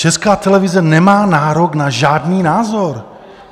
Česká televize nemá nárok na žádný názor!